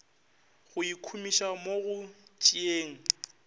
go ikhumiša mo go tšeeng